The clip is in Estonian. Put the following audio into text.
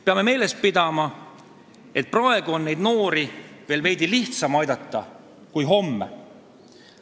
Peame meeles pidama, et praegu on neid noori veel veidi lihtsam aidata kui homme.